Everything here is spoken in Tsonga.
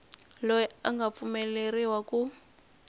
loyi a nga pfumeleriwa ku